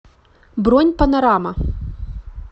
бронь панорама